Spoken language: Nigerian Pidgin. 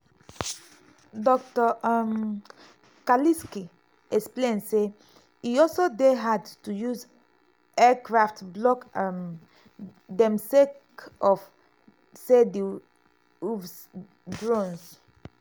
dr um kalisky explain say "e also dey hard to use aircraft block um dem sake of say di uavs (drones)